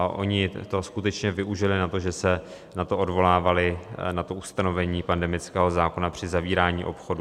A oni to skutečně využili na to, že se na to odvolávali, na to ustanovení pandemického zákona při zavírání obchodů.